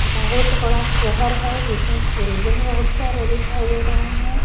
बहुत बड़ा शहर है जिसमे बिल्डिंग बहुत सारे दिखाई दे रहे हैं।